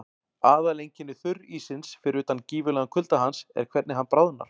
Aðaleinkenni þurríssins, fyrir utan gífurlegan kulda hans, er hvernig hann bráðnar.